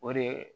O de ye